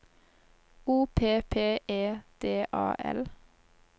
O P P E D A L